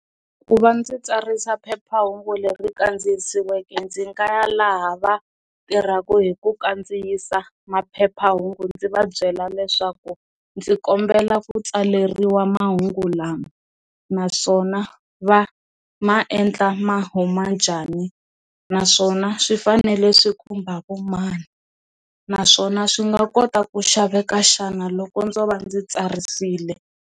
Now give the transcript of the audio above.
Ku va ndzi tsarisa phephahungu leri kandziyisiweke ndzi nga ya laha va tirhaka hi ku kandziyisa maphephahungu ndzi va byela leswaku ndzi kombela ku tsaleriwa mahungu lama naswona va ma endla mahuma njhani naswona swi fanele swi khumba vo mani, naswona swi nga kota ku xaveka xana loko ndzo va ndzi tsarisile.